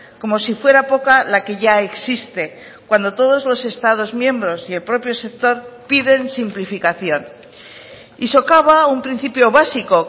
como si fuera poca la que ya existe cuando todos los estados miembros y el propio sector piden simplificación y socaba un principio básico